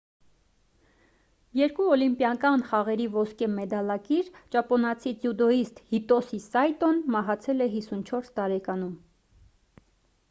երկու օլիմպիական խաղերի ոսկե մեդալակիր ճապոնացի ձյուդոյիստ հիտոսի սայտոն մահացել է 54 տարեկանում